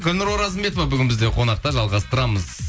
гүлнұр оразымбетова бүгін бізде қонақта жалғастырамыз